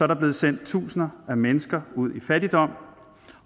der blevet sendt tusinder af mennesker ud i fattigdom